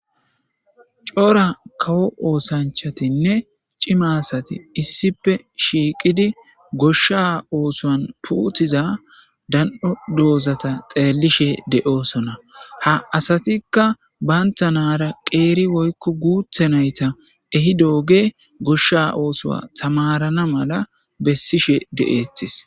Cora kawo oosanchatinne cima sati issippe shiiqidi goshsha oosoan puutiza dan7o doozata xeellishe de7oosona ha asatikka baynta naara qeeri woykko guuthe nayta ehi dooge goshsha oosoa tamarana mala bessishe de7eettis.